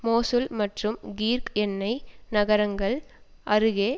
Mosul மற்றும் Kirkuk எண்ணெய் நகரங்கள் அருகே